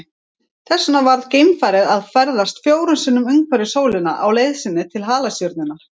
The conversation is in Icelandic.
Þess vegna varð geimfarið að ferðast fjórum sinnum umhverfis sólina á leið sinni til halastjörnunnar.